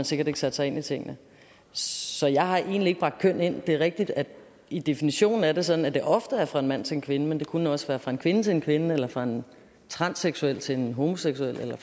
sikkert ikke sat sig ind i tingene så jeg har egentlig ikke bragt køn ind i det det er rigtigt at i definitionen er det sådan at det ofte er fra en mand til en kvinde men det kunne også være fra en kvinde til en kvinde eller fra en transseksuel til en homoseksuel eller